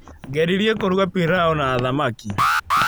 ngeririe kũruga piraũ na thamak